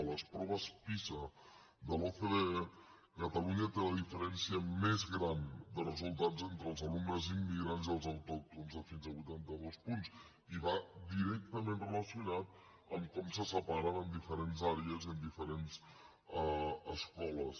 a les proves pisa de l’ocde catalunya té la diferència més gran de resultats entre els alumnes immigrants i els autòctons de fins a vuitanta dos punts i va directament relacionat amb com se separen en diferents àrees i en diferents escoles